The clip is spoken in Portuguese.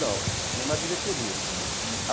Não, tinha uma diretoria.